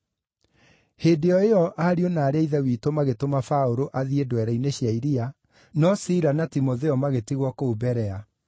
Hĩndĩ o ĩyo ariũ na aarĩ a Ithe witũ magĩtũma Paũlũ athiĩ ndwere-inĩ cia iria, no Sila na Timotheo magĩtigwo kũu Berea.